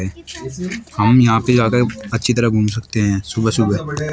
हम यहां पे जाकर अच्छी तरह घूम सकते हैं सुबह सुबह।